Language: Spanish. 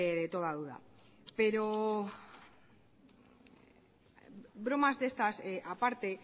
de toda duda pero bromas de estas aparte